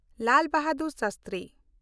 Lal Bahadur Shastri